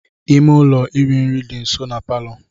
Ime ụlọ iri nri dị nso na palọ.